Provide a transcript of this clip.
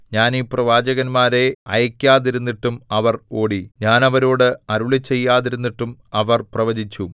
ഞാൻ ഈ പ്രവാചകന്മാരെ അയയ്ക്കാതിരുന്നിട്ടും അവർ ഓടി ഞാൻ അവരോടു അരുളിച്ചെയ്യാതിരുന്നിട്ടും അവർ പ്രവചിച്ചു